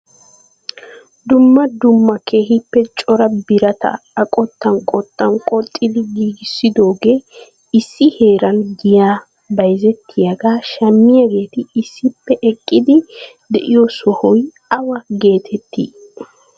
Dumma dumma keehippe cora birataa a qottan qottan qoxxidi giigissidooge issi heeran giya bayzzetiyaaga shammiyaageeti issippe eqqidi de'iyo sohoy awa getetti?